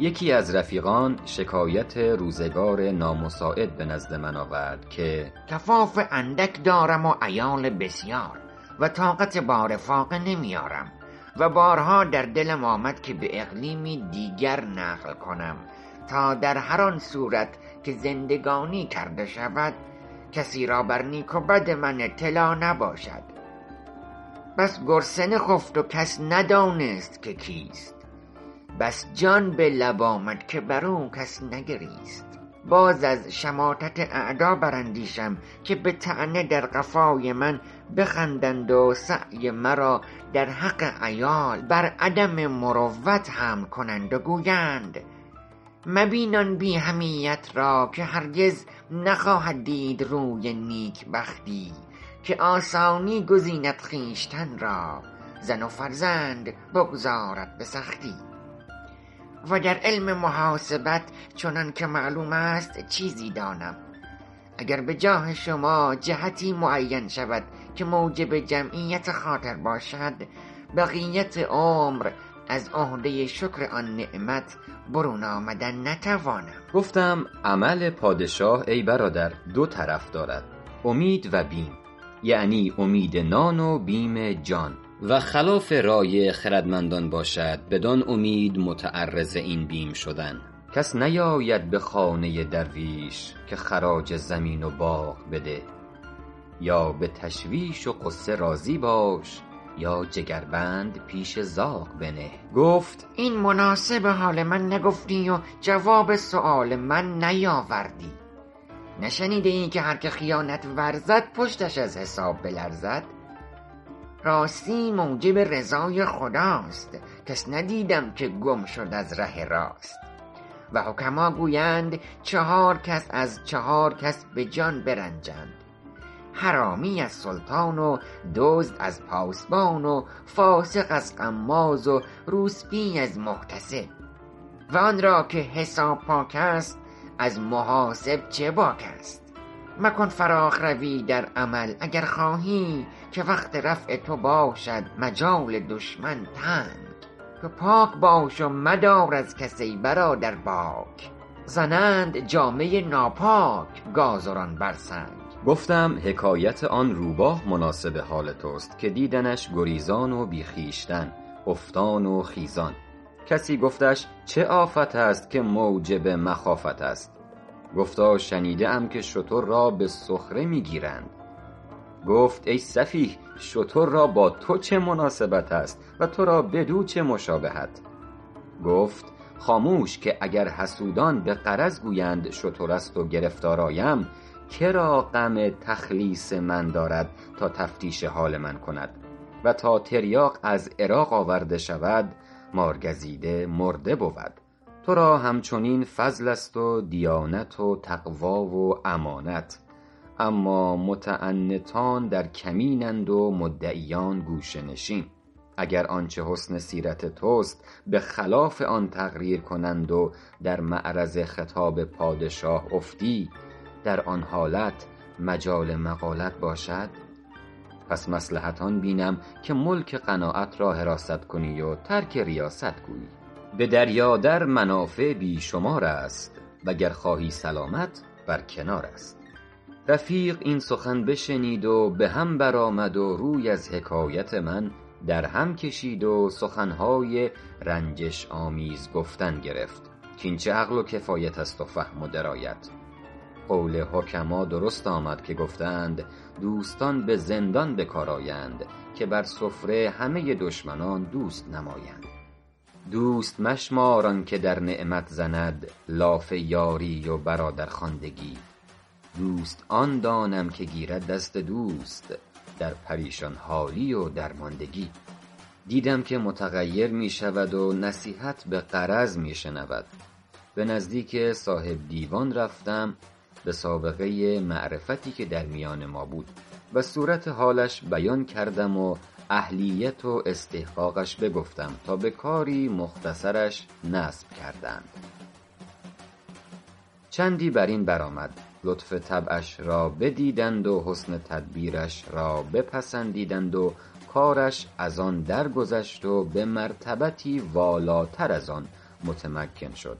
یکی از رفیقان شکایت روزگار نامساعد به نزد من آورد که کفاف اندک دارم و عیال بسیار و طاقت بار فاقه نمی آرم و بارها در دلم آمد که به اقلیمی دیگر نقل کنم تا در هر آن صورت که زندگانی کرده شود کسی را بر نیک و بد من اطلاع نباشد بس گرسنه خفت و کس ندانست که کیست بس جان به لب آمد که بر او کس نگریست باز از شماتت اعدا بر اندیشم که به طعنه در قفای من بخندند و سعی مرا در حق عیال بر عدم مروت حمل کنند و گویند مبین آن بی حمیت را که هرگز نخواهد دید روی نیکبختی که آسانی گزیند خویشتن را زن و فرزند بگذارد به سختی و در علم محاسبت چنان که معلوم است چیزی دانم و گر به جاه شما جهتی معین شود که موجب جمعیت خاطر باشد بقیت عمر از عهده شکر آن نعمت برون آمدن نتوانم گفتم عمل پادشاه ای برادر دو طرف دارد امید و بیم یعنی امید نان و بیم جان و خلاف رای خردمندان باشد بدان امید متعرض این بیم شدن کس نیاید به خانه درویش که خراج زمین و باغ بده یا به تشویش و غصه راضی باش یا جگربند پیش زاغ بنه گفت این مناسب حال من نگفتی و جواب سؤال من نیاوردی نشنیده ای که هر که خیانت ورزد پشتش از حساب بلرزد راستی موجب رضای خداست کس ندیدم که گم شد از ره راست و حکما گویند چهار کس از چهار کس به جان برنجند حرامی از سلطان و دزد از پاسبان و فاسق از غماز و روسبی از محتسب و آن را که حساب پاک است از محاسب چه باک است مکن فراخ روی در عمل اگر خواهی که وقت رفع تو باشد مجال دشمن تنگ تو پاک باش و مدار از کس ای برادر باک زنند جامه ناپاک گازران بر سنگ گفتم حکایت آن روباه مناسب حال توست که دیدندش گریزان و بی خویشتن افتان و خیزان کسی گفتش چه آفت است که موجب مخافت است گفتا شنیده ام که شتر را به سخره می گیرند گفت ای سفیه شتر را با تو چه مناسبت است و تو را بدو چه مشابهت گفت خاموش که اگر حسودان به غرض گویند شتر است و گرفتار آیم که را غم تخلیص من دارد تا تفتیش حال من کند و تا تریاق از عراق آورده شود مارگزیده مرده بود تو را هم چنین فضل است و دیانت و تقوی و امانت اما متعنتان در کمین اند و مدعیان گوشه نشین اگر آنچه حسن سیرت توست به خلاف آن تقریر کنند و در معرض خطاب پادشاه افتی در آن حالت مجال مقالت باشد پس مصلحت آن بینم که ملک قناعت را حراست کنی و ترک ریاست گویی به دریا در منافع بی شمار است و گر خواهی سلامت بر کنار است رفیق این سخن بشنید و به هم بر آمد و روی از حکایت من در هم کشید و سخن های رنجش آمیز گفتن گرفت کاین چه عقل و کفایت است و فهم و درایت قول حکما درست آمد که گفته اند دوستان به زندان به کار آیند که بر سفره همه دشمنان دوست نمایند دوست مشمار آن که در نعمت زند لاف یاری و برادرخواندگی دوست آن دانم که گیرد دست دوست در پریشان حالی و درماندگی دیدم که متغیر می شود و نصیحت به غرض می شنود به نزدیک صاحب دیوان رفتم به سابقه معرفتی که در میان ما بود و صورت حالش بیان کردم و اهلیت و استحقاقش بگفتم تا به کاری مختصرش نصب کردند چندی بر این بر آمد لطف طبعش را بدیدند و حسن تدبیرش را بپسندیدند و کارش از آن درگذشت و به مرتبتی والاتر از آن متمکن شد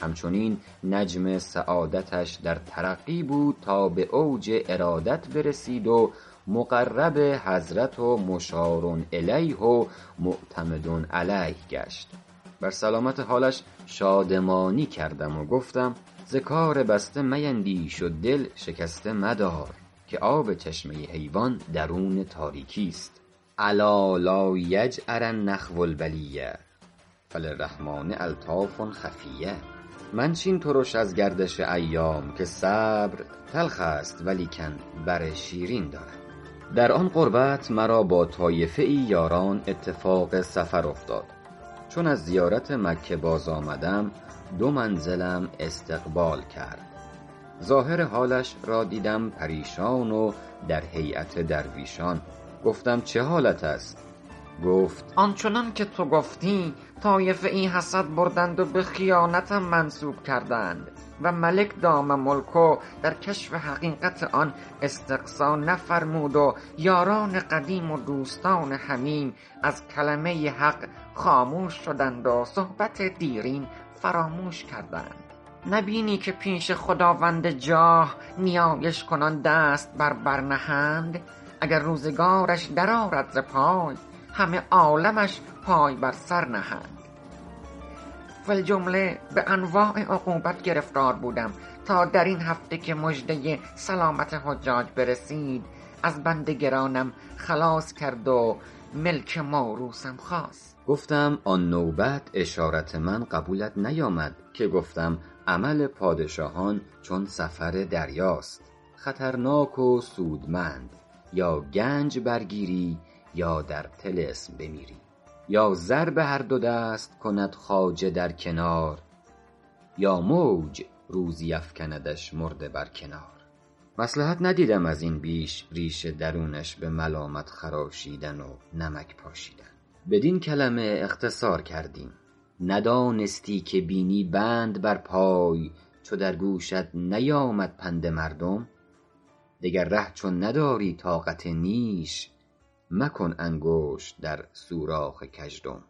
هم چنین نجم سعادتش در ترقی بود تا به اوج ارادت برسید و مقرب حضرت و مشارالیه و معتمد علیه گشت بر سلامت حالش شادمانی کردم و گفتم ز کار بسته میندیش و دل شکسته مدار که آب چشمه حیوان درون تاریکی است الا لایجأرن اخو البلیة فللرحمٰن الطاف خفیة منشین ترش از گردش ایام که صبر تلخ است ولیکن بر شیرین دارد در آن قربت مرا با طایفه ای یاران اتفاق سفر افتاد چون از زیارت مکه باز آمدم دو منزلم استقبال کرد ظاهر حالش را دیدم پریشان و در هیأت درویشان گفتم چه حالت است گفت آن چنان که تو گفتی طایفه ای حسد بردند و به خیانتم منسوب کردند و ملک دام ملکه در کشف حقیقت آن استقصا نفرمود و یاران قدیم و دوستان حمیم از کلمه حق خاموش شدند و صحبت دیرین فراموش کردند نه بینی که پیش خداوند جاه نیایش کنان دست بر بر نهند اگر روزگارش در آرد ز پای همه عالمش پای بر سر نهند فی الجمله به انواع عقوبت گرفتار بودم تا در این هفته که مژده سلامت حجاج برسید از بند گرانم خلاص کرد و ملک موروثم خاص گفتم آن نوبت اشارت من قبولت نیامد که گفتم عمل پادشاهان چون سفر دریاست خطرناک و سودمند یا گنج برگیری یا در طلسم بمیری یا زر به هر دو دست کند خواجه در کنار یا موج روزی افکندش مرده بر کنار مصلحت ندیدم از این بیش ریش درونش به ملامت خراشیدن و نمک پاشیدن بدین کلمه اختصار کردیم ندانستی که بینی بند بر پای چو در گوشت نیامد پند مردم دگر ره چون نداری طاقت نیش مکن انگشت در سوراخ گژدم